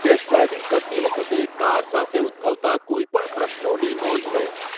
Test driving કરતી વખતે, car સાથે ઉદભવતા કોઈપણ પ્રશ્નોની નોંધ લો.